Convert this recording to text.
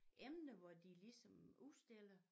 Emne hvor de ligesom udstiller